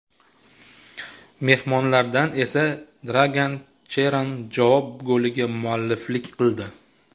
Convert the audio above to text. Mehmonlardan esa Dragan Cheran javob goliga mualliflik qildi.